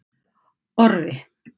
Orri